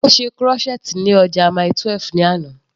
Ó ṣe crochet ní ọjà Mile 12 ní àná.